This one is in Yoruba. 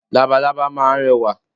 Labalábá máa ń rẹwà